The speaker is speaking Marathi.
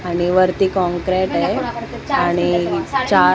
आणि वरती काँक्रेट आहे आणि चा --